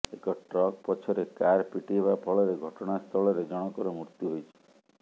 ଏକ ଟ୍ରକ୍ ପଛରେ କାର୍ ପିଟି ହେବା ଫଳରେ ଘଟଣାସ୍ଥଳରେ ଜଣଙ୍କର ମୃତ୍ୟୁ ହୋଇଛି